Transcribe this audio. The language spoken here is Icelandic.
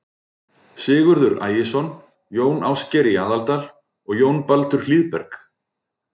Sigurður Ægisson, Jón Ásgeir í Aðaldal og Jón Baldur Hlíðberg.